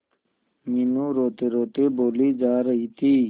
मीनू रोतेरोते बोली जा रही थी